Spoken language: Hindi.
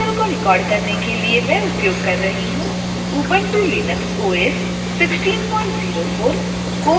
इस ट्यूटोरियल को रिकॉर्ड करने के लिए मैं उपयोग कर रही हूँ ubuntu linux os 1604